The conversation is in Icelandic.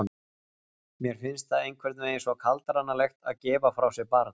Mér finnst það einhvern veginn svo kaldranalegt að gefa frá sér barn.